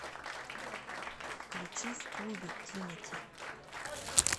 включи в клубе тимати